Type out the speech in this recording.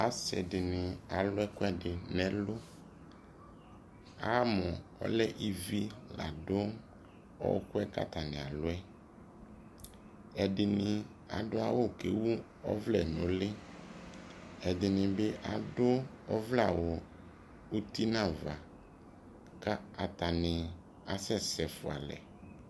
asii dini alʋ ɛkʋɛdi nʋɛlʋ, amʋ ɔlɛ ivi ladʋ ɔkʋɛ kʋ atani alʋɛ, ɛdini adʋ awʋ kʋ ɛwʋ ɔvlɛ nʋʋli, ɛdini bi adʋ ɔvlɛ awʋ nʋ ʋti nʋ aɣa kʋ atani asɛsɛ ƒʋa alɛ